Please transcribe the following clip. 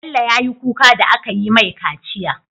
Bello yayi kuka da akayi mai kaciya